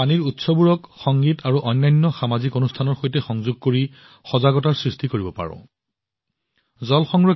আমি আমাৰ পানীৰ উৎসবোৰক সংগীত আৰু অন্যান্য সামাজিক কাৰ্যসূচীৰ সৈতে সংযোগ কৰি একেধৰণে তেওঁলোকৰ বিষয়ে সজাগতাৰ অনুভূতি সৃষ্টি কৰিব পাৰোঁ